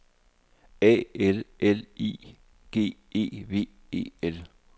A L L I G E V E L